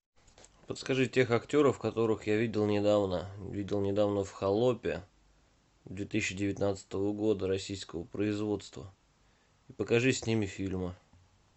подскажи тех актеров которых я видел недавно видел недавно в холопе две тысячи девятнадцатого года российского производства и покажи с ними фильмы